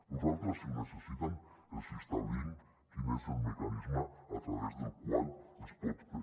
nosaltres si ho necessiten els establim quin és el mecanisme a través del qual es pot fer